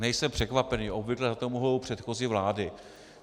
Nejsem překvapený, obvykle za to mohou předchozí vlády.